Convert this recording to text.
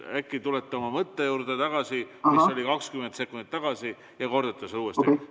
Äkki tulete tagasi oma mõtte juurde, mis oli 20 sekundit tagasi, ja kordate seda uuesti?